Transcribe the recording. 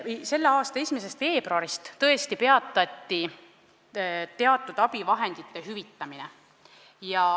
Selle aasta 1. veebruarist tõesti peatati teatud abivahendite hüvitamine.